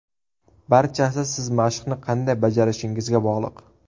Barchasi siz mashqni qanday bajarishingizga bog‘liq.